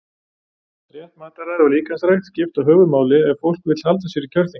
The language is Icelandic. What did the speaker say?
Rétt mataræði og líkamsrækt skipta höfuðmáli ef fólk vill halda sér í kjörþyngd.